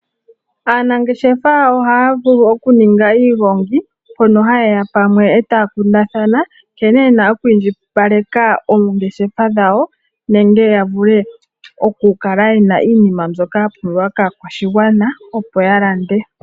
Aanangeshefa ohaya vulu okuninga iigongi mpoka hayeya pamwe etaya kundathana nkene yena okuindjipaleka oongeshefa dhawo nenge yavule okukala yena iinima mbyoka ya pumbiwa kaakwashigwana opo yalande.